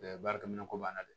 baarakɛminɛn ko b'a la dɛ